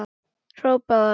hrópaði hann.